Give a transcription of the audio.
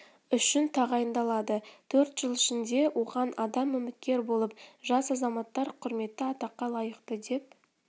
үшін тағайындалады төрт жыл ішінде оған адам үміткер болып жас азаматтар құрметті атаққа лайықты деп